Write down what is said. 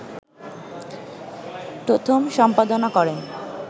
প্রথম সম্পাদনা করেন